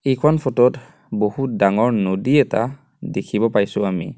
এইখন ফটো ট বহুত ডাঙৰ নদী এটা দেখিব পাইছোঁ আমি।